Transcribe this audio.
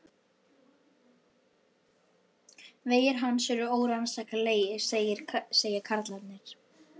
Vegir hans eru órannsakanlegir, segja karlarnir.